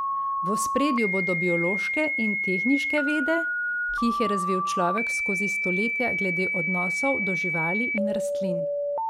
V ospredju bodo biološke in tehniške vede, ki jih je razvil človek skozi stoletja glede odnosov do živali in rastlin.